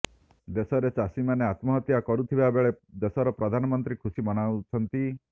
ଦେଶରେ ଚାଷୀମାନେ ଆତ୍ମହତ୍ୟା କରୁଥିବା ବେଳେ ଦେଶର ପ୍ରଧାନମନ୍ତ୍ରୀ ଖୁସି ମନାଉଛନ୍ତି